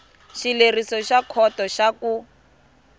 xileriso xa khoto xa ku